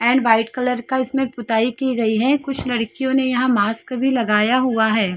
And white colour का इसमें पुताई की गयी है कुछ लड़कियों ने यहाँ मास्क भी लगाया हुआ है।